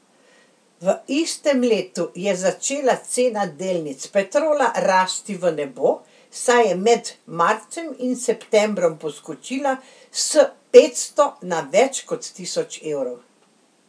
V istem letu je začela cena delnic Petrola rasti v nebo, saj je med marcem in septembrom poskočila s petsto na več kot tisoč evrov.